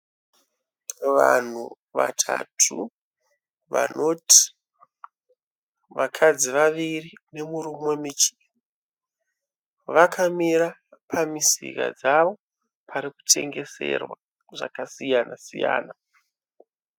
Vanhu vatatu, vanoti vakadzi vaviri, nemurume, vakamira pamisika dzavo pari kutengeserwa zvakasiyana-siyana.